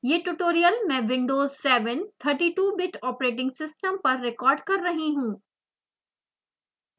यह ट्यूटोरियल मैं windows7 32bit operating system पर रेकॉर्ड कर रही हूँ